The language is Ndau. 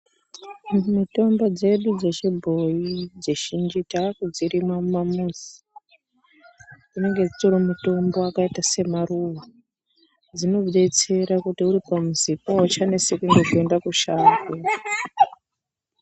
Mitombo dzedu dzechibhoyi dzizhinji tava kudzirima mumamuzi dzinenge dzitori mitombo yakaita maruwa dzinodetsera kuti uri pamuzipo hauchaneseki nekuenda mushango.